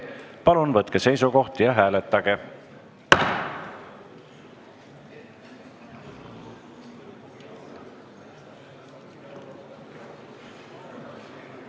Palun võtke seisukoht ja hääletage!